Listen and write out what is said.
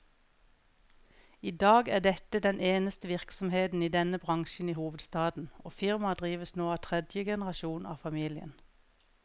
I dag er dette den eneste virksomheten i denne bransjen i hovedstaden, og firmaet drives nå av tredje generasjon av familien.